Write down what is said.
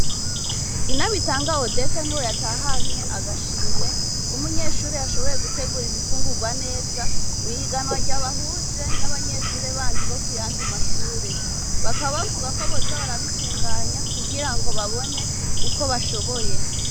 Inabitanga Odeta, niwe yatahanye agashimwe, k'umunyeshure yashoboye, gutegura ibifungurwa neza, mw'ihiganwa ryabahuje, n'abanyeshure bandi, bo ku yandi mashure; bakaba bavuga, ko boza barabitunganya, kugira ngo babone, uko bashoboye.